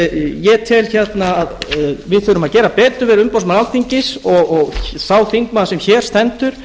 ég tel að við þurfum að gera betur við umboðsmann alþingis og sá þingmaður sem hér stendur